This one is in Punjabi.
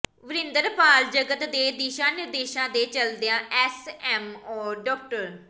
ਵਰਿੰਦਰਪਾਲ ਜਗਤ ਦੇ ਦਿਸ਼ਾ ਨਿਰਦੇਸ਼ਾਂ ਤੇ ਚੱਲਦਿਆਂ ਐੱਸਐੱਮਓ ਡਾ